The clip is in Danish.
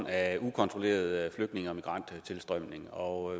af en ukontrolleret flygtninge og migranttilstrømning og